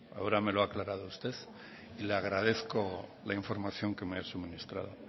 ahora me lo ha aclarado usted y le agradezco la información que me ha suministrado